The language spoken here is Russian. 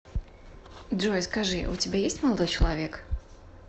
джой скажи у тебя есть молодой человек